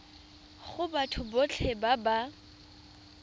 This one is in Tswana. go batho botlhe ba ba